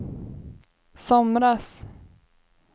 somras